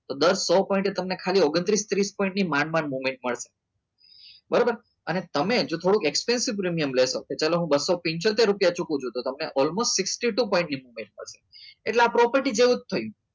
તો દર સોંપોટે તમને ખાલી ઓગન્તૃસ ત્રીસ નવ point ત્રીસ point ની માંડ માંડ movement મળશે બરોબર અને તમે જે થોડું expensive પ્રીમિયમ લેશો કે ચાલો હું બસો પંચોતેર રૂપિયા ચૂકું છું તો તમને almost બાસઠ point બે મળશે એટલે આ property જેવું જ છે થયું